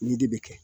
Nin de bɛ kɛ